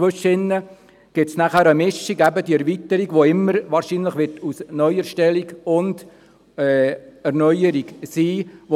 Dazwischen gibt es eine Mischung, eben die Erweiterung, die wahrscheinlich immer aus einer Neuerstellung und einer Erneuerung bestehen wird.